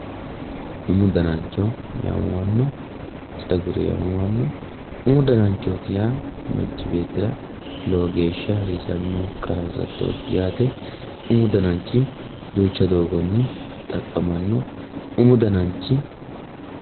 Umu danancho yaamamano ,umu dananchoti yaa manchi beettira lowo geeshsha hasiisanoho qarra hasattoti yaate, umu dananchu duucha doogonni xaqamano, umu dananchi.